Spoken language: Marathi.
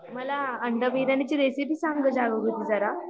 मला अंडा बिर्याणी ची रेसिपी सांग ग जागृती जरा